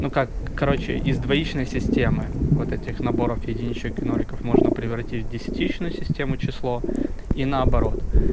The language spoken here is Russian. ну как короче из двоичной системы вот этих наборов единичек и ноликов можно превратить в десятичную систему число и наоборот